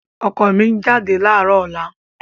Ọkọ mi ń jáde láàárọ̀ ọ̀la.